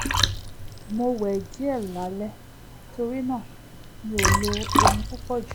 mo wẹ̀ díẹ̀ lálẹ́ torí náà mi ò lo omi púpọ̀ jù